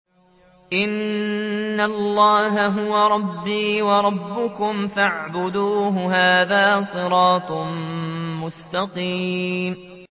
إِنَّ اللَّهَ هُوَ رَبِّي وَرَبُّكُمْ فَاعْبُدُوهُ ۚ هَٰذَا صِرَاطٌ مُّسْتَقِيمٌ